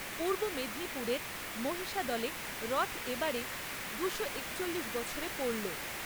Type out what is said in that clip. পূর্ব মেদিনীপুরের মহিষাদলে রথ এবারে দুশো একচল্লিশ বছরে পড়লো।